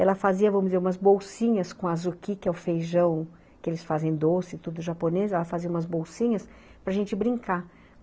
Ela fazia, vamos dizer, umas bolsinhas com azuki, que é o feijão que eles fazem doce, tudo japonês, ela fazia umas bolsinhas para a gente brincar.